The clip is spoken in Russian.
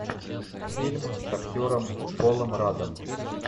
фильм с актером полом раддом